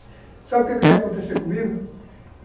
Sabe o que que ia acontecer comigo?